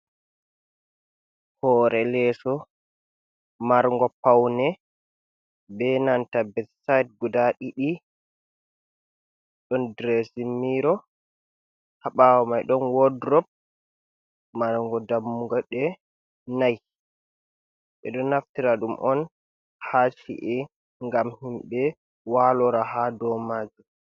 Hore leso, marngo paune be nanta betsayd guda ɗiɗi, ɗon diresmiro haɓawo mai ɗon wodrop marngo dammuɗe nay, ɓeɗo naftira ɗum on ha ci’a ngam himɓe walora ha dow majum.